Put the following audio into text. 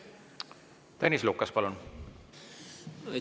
Tõnis Lukas, palun!